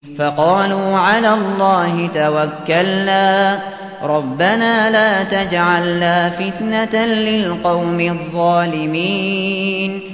فَقَالُوا عَلَى اللَّهِ تَوَكَّلْنَا رَبَّنَا لَا تَجْعَلْنَا فِتْنَةً لِّلْقَوْمِ الظَّالِمِينَ